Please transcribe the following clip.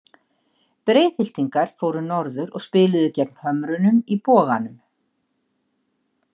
Breiðhyltingar fóru norður og spiluðu gegn Hömrunum í Boganum.